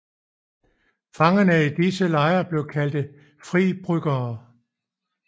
Fangerne i disse lejre blev kaldt fri bryggere